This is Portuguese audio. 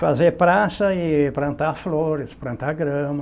Fazer praça e plantar flores, plantar grama.